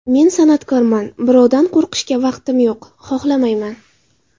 Men san’atkorman, birovdan qo‘rqishga vaqtim yo‘q, xohlamayman.